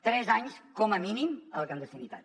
tres anys com a mínim a la clandestinitat